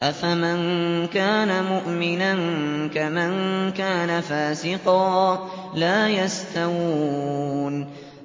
أَفَمَن كَانَ مُؤْمِنًا كَمَن كَانَ فَاسِقًا ۚ لَّا يَسْتَوُونَ